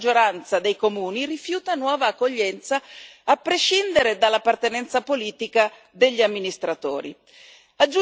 Quindi, la stragrande maggioranza dei comuni rifiuta nuova accoglienza, a prescindere dall'appartenenza politica degli amministratori.